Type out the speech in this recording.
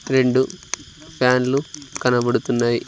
రెండు ప్యాన్లు కనబడుతున్నాయి.